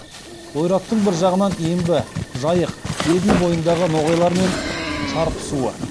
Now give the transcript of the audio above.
ойраттардың бір жағынан ембі жайық еділ бойындағы ноғайлармен шарпысуы